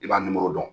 I b'a nimoro dɔn